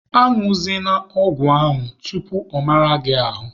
A ñụzịna ọgwụ ahụ tupu ọ mara gị ahụ!